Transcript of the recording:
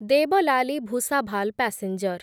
Deolali Bhusawal passenger